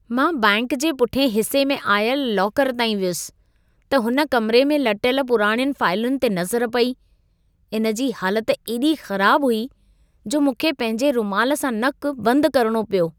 मां बैंक जे पुठियें हिसे में आयल लॉकर ताईं वयुसि, त हुन कमिरे में लटियल पुराणियुनि फाइलुनि ते नज़र पेई। इन जी हालत एॾी ख़राब हुई जो मूंखे पंहिंजे रुमालु सां नक बंदि करणो पियो।